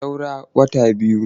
Saura wata biyu.